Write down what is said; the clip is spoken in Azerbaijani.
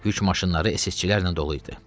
Yük maşınları SS-çilərlə dolu idi.